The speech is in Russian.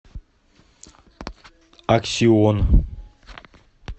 аксион